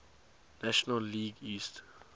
national league east